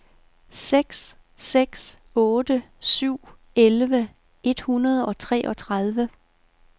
seks seks otte syv elleve et hundrede og treogtredive